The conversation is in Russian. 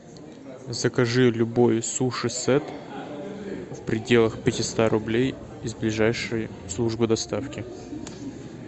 закажи любой суши сет в пределах пятиста рублей из ближайшей службы доставки